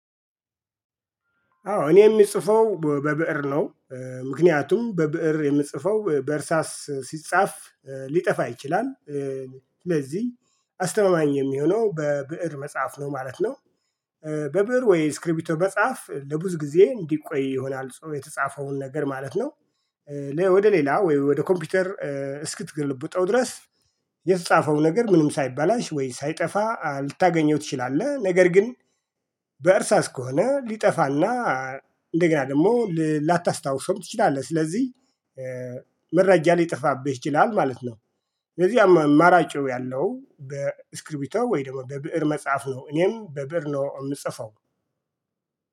አዎ እኔ የሚጽፈው በብእር ነው። ምክንያቱም በብእር የምጽፈው በእርሳስ ሲጻፍ ሊጠፋ ይችላል። ስለዚህ አስተማማኝ የሚሆነው በብእር መጻፍ ነው ማለት ነው። በብእር ወይ በእስክርቢቶ መጻፍ ለብዙ ጊዜ እንዲቆይ ይሆናል የተጻፈውን ነገር ማለት ነው። ወደ ሌላ ወይ ወደ ኮምፒውተር እስክትገልብጠው ድረስ የተጻፈውን ነገር ምንም ሳይባላሽ ወይ ሳይጠፋ ልታገኘው ትችላለህ። ነገር ግን በእርሳስ ከሆነ ሊጠፋና እንደገና ደግሞ ላታስታውሰውም ትችላለህ። ስለዚህ መረጃ ሊጠፋብህ ይችላል ማለት ነው። ስለዚህ አማራጩ ያለው በእስክሪቢቶ ወይ ደግሞ በብእር መጻፍ ነው። እኔም በብእር ነው የምጽፈው።